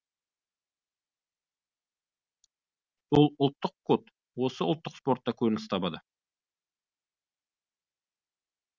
сол ұлттық код осы ұлттық спортта көрініс табады